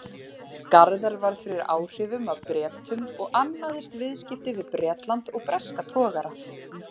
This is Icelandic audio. Garðar varð fyrir áhrifum af Bretum og annaðist viðskipti við Bretland og breska togara.